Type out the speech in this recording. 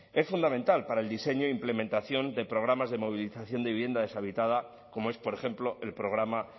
es fundamental para el diseño e implementación de programas de movilización de vivienda deshabitada como es por ejemplo el programa